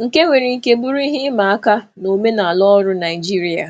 um nke nwere ike ịbụ ihe siri ike n'omenala ọrụ Naịjirịa.